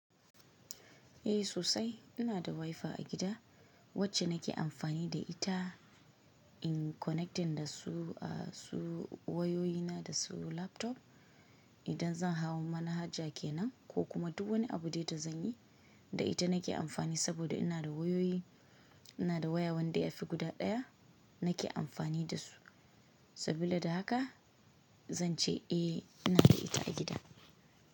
Eh sosai ina da wifi a gida wacce nake amfani da ita in connectin da su, a su wayoyi na da su laptop. Idan zan hau wani haja kenan ko kuma duk wani abu da ita zan yi, da ita nake amfani saboda ina da wayoyi, ina da waya wanda ya fi guda ɗaya nake amfani da su. Saboda da haka zan ce eh ina da ita a gida.